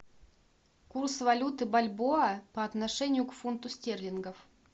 курс валюты бальбоа по отношению к фунту стерлингов